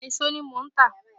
Èso ní mo ń tà